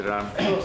Təbrik edirəm.